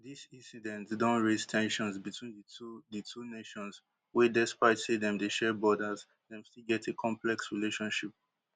dis incident don raise ten sions between di two di two nations wey despite say dem dey share borders dem still get a complex relationship